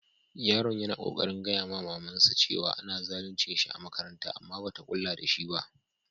Yaron ya na kokarin gaya ma mama'n sa cewa ana zaluncin shi a'makaranta amma ba ta kulla da shi ba.